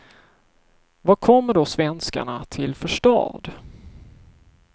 Vad kommer då svenskarna till för stad?